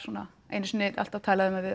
einu sinni alltaf talað um að